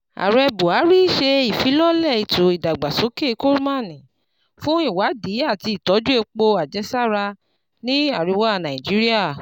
Ààrẹ Buhari ṣe ìfilọ́lẹ̀ ètò ìdàgbàsókè Kolmani fún ìwádìí àti ìtọ́jú epo àjẹsára ní àríwá Nàìjíríà